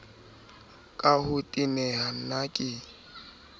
ka ho teneha na ke